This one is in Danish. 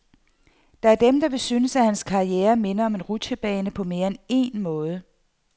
Der er dem, der vil synes, at hans karriere minder om en rutschebane på mere end én måde.